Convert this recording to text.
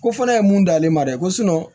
Ko fɔlɔ ye mun da ale ma dɛ ko